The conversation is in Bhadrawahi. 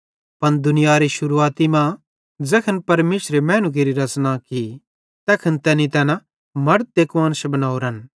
पन दुनियारी शुरुआती मां ज़ैखन परमेशरे मैनू केरि रच़ना की तैखन तैनी तैना मड़द ते कुआन्श बनोरेन